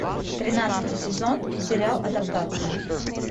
тринадцатый сезон сериал адаптация